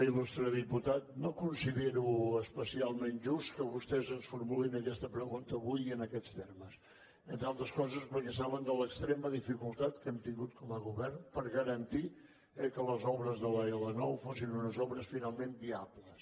il·lustre diputat no considero especialment just que vostès ens formulin aquesta pregunta avui en aquests termes entre altres coses perquè saben l’extrema dificultat que hem tingut com a govern per garantir que les obres de l’l9 fossin unes obres finalment viables